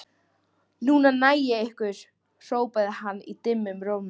Núna næ ég ykkur hrópaði hann dimmum rómi.